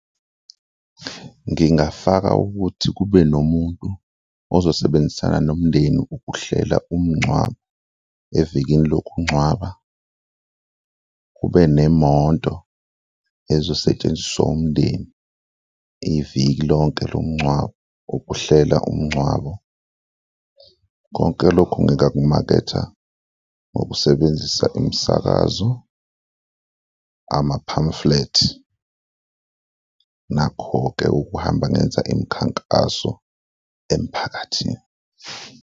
Ngingafaka ukuthi kube nomuntu ozosebenzisana nomndeni ukuhlela umngcwabo, evekini lokungcwaba kube nemoto ezosetshenziswa umndeni iviki lonke lomngcwabo ukuhlela umngcwabo. Konke lokhu ngikakumaketha ngokusebenzisa imisakazo, ama-pamphlet nakho-ke ukuhamba ngenza imikhankaso emphakathini.